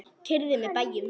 Keyrið með bæjum